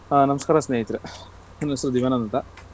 ಹಾ ನಮಸ್ಕಾರ ಸ್ನೇಹಿತ್ರೆ, ನನ್ ಹೆಸರು ದಿವ್ಯಾನಂದ್ ಅಂತ.